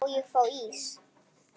Má ég fá ís?